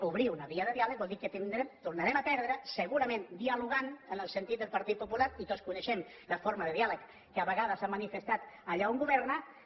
obrir una via de diàleg vol dir que tornarem a perdre segurament dialogant en el sentit del partit popular i tots coneixem la forma de diàleg que a vegades ha manifestat allà on gover·na